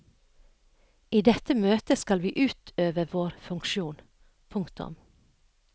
I dette møtet skal vi utøve vår funksjon. punktum